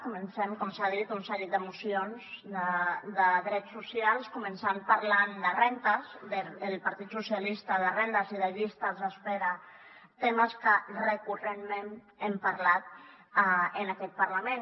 comencem com s’ha dit un seguit de mocions de drets socials començant parlant del partit socialistes de rendes i de llistes d’espera temes de que recurrentment hem parlat en aquest parlament